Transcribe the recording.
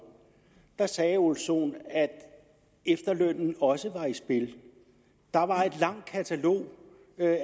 sagde herre ole sohn at efterlønnen også var i spil der var et langt katalog